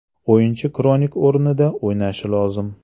O‘yinchi Kronik o‘rnida o‘ynashi lozim.